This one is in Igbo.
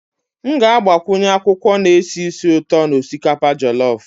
M ga-agbakwunye akwụkwọ na-esi ísì ụtọ na osikapa jolof